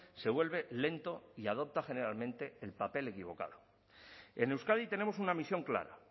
se vuelve lento y adopta generalmente el papel equivocado en euskadi tenemos una misión clara